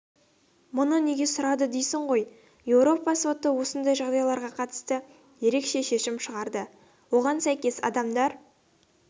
мұны неге сұрадың дейсің ғой еуропа соты осындай жағдайларға қатысты ерекше шешім шығарды оған сәйкес адамдар